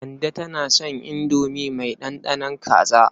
Kande tana son indomi mai ɗanɗanon kaza.